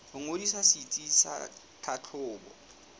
ho ngodisa setsi sa tlhahlobo